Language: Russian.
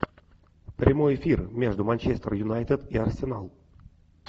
прямой эфир между манчестер юнайтед и арсенал